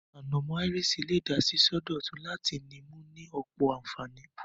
Ànàmó áiriṣì le de síso dòtun láti ni mu ni ọ̀pọ̀ ànfàní